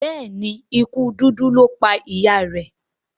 Béèni ikú dúdú lọ pá ìyá rẹ.